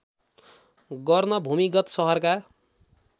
गर्न भूमिगत सहरका